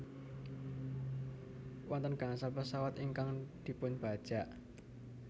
Wonten gangsal pesawat ingkang dipunbajak